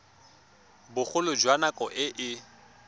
bogolo jwa nako e e